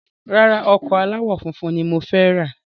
Rárá, ọkọ̀ aláwò funfun ni mo fẹ ra